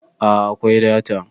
a a akwai data